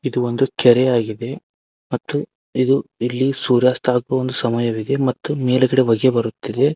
ಇದು ಒಂದು ಕೆರೆಯಾಗಿದೆ ಮತ್ತು ಇದು ಇಲ್ಲಿ ಸೂರ್ಯಾಸ್ತ ಆಗೋ ಒಂದು ಸಮಯವಿದೆ ಮತ್ತು ಮೇಲ್ಗಡೆ ಹೊಗೆ ಬರುತ್ತಿದೆ.